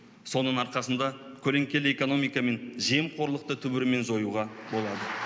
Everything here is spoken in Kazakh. соның арқасында көлеңкелі экономика мен жемқорлықты түбірімен жоюға болады